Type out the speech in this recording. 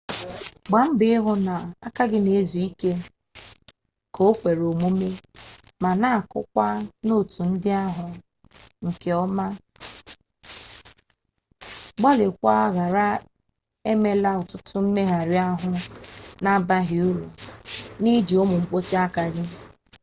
gbaa mbọ hụ n'aka gị na-ezu ike dị ka o kwere omume ma na-akụkwa nootụ ndị ahụ nke ọma gbalịkwaa ghara emela ọtụtụ mmegharị ahụ na-abaghị uru n'iji ụmụ mkpịsị aka gị